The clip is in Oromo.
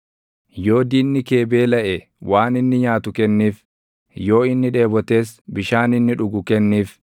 Yoo diinni kee beelaʼe waan inni nyaatu kenniif; yoo inni dheebotes bishaan inni dhugu kenniif.